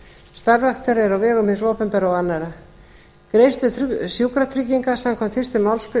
starfræktar eru á vegum hins opinbera og annarra greiðslur sjúkratrygginga samkvæmt fyrstu málsgrein